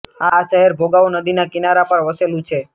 આ શહેર ભોગાવો નદીના કિનારા પર વસેલું છે